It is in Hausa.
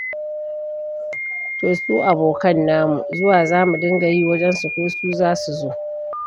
To su abokan namu zuwa za mu dinga yi wajensu ko su za su zo.